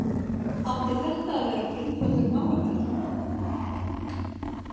Átti þetta að vera grundvöllur málaferlanna?